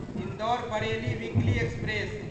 Indore Bareilly weekly express